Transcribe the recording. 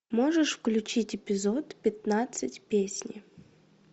можешь включить эпизод пятнадцать песни